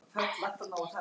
Eftir þetta.